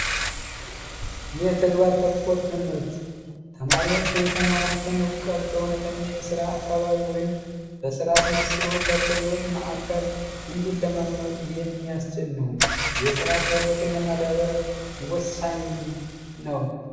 የተግባር ተኮር ትምህርት ተማሪዎች የተማሩትን እውቀት በእውነተኛ የስራ አካባቢ ወይም በስራ አስመስሎ የዕውቀት ማዕከል እንዲለማመዱ የሚያስችል ነው፤ የስራ ክህሎትን ለማዳበር ወሳኝም ነው።